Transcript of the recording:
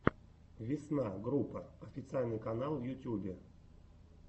весна группа официальный канал в ютюбе